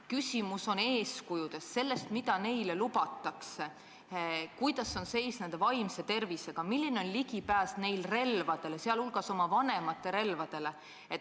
Küsimus on eeskujudes – selles, mida neile lubatakse, milline on nende vaimse tervise seisund, milline on ligipääs relvadele, sh oma vanemate relvadele.